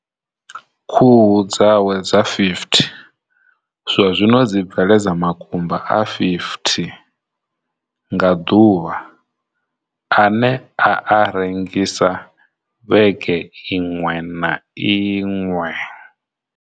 Khuhu dzawe dza 50 zwa zwino dzi bveledza makumba a 50 nga ḓuvha ane a a rengisa vhege iṅwe na iṅwe.